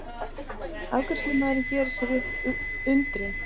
Afgreiðslumaðurinn gerir sér upp undrun.